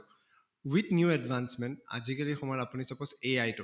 with new advancement আজি কালি সময়ত আপুনি suppose AI টো